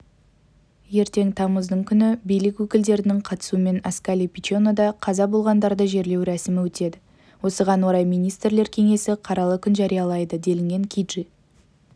ертең тамыздың күні билік өкілдерінің қатысуымен асколи-пиченода қаза болғандарды жерлеу рәсімі өтеді осыған орай министрлер кеңесі қаралы күн жариялайды делінген киджи